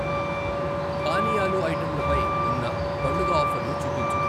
పానీయాలు ఐటెంలపై ఉన్న పండుగ ఆఫర్లు చూపించు.